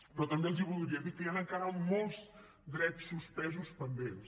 però també els voldria dir que hi han encara molts drets suspesos pendents